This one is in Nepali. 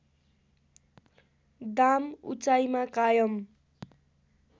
दाम उचाइमा कायम